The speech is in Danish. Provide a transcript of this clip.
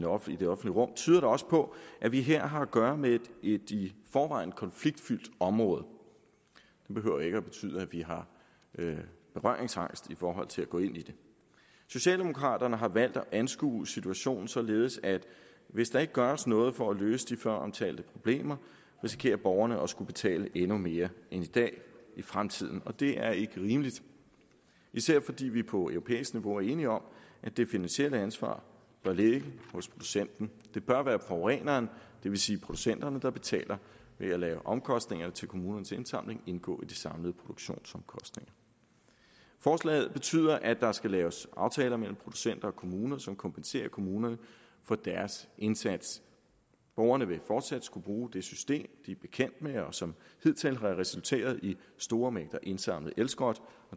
offentlige rum tyder også på at vi her har at gøre med et i forvejen konfliktfyldt område det behøver ikke at betyde at vi har berøringsangst i forhold til at gå ind i det socialdemokraterne har valgt at anskue situationen således at hvis der ikke gøres noget for at løse de føromtalte problemer risikerer borgerne at skulle betale endnu mere end i dag i fremtiden og det er ikke rimeligt især fordi vi på europæisk niveau er enige om at det finansielle ansvar bør ligge hos producenten det bør være forureneren det vil sige producenterne der betaler ved at lade omkostningerne til kommunernes indsamling indgå i de samlede produktionsomkostninger forslaget betyder at der skal laves aftaler mellem producenter og kommuner som kompenserer kommunerne for deres indsats borgerne vil fortsat skulle bruge det system de er bekendt med og som hidtil har resulteret i store mængder indsamlet elskrot